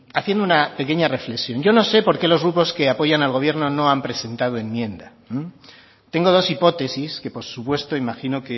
haciendo una pequeña reflexión yo no sé porque los grupos que apoyan al gobierno no han presentado enmienda tengo dos hipótesis que por supuesto imagino